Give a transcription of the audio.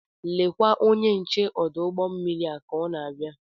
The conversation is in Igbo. Lekwa onye nche ọdụ ụgbọ mmiri a ka ọ na-abịa.